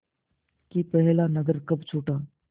कि पहला नगर कब छूटा